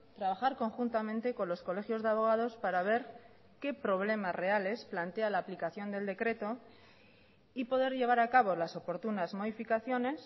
trabajar conjuntamente con los colegios de abogados para ver qué problemas reales plantea la aplicación del decreto y poder llevar a acabo las oportunas modificaciones